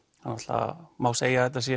það má segja að þetta sé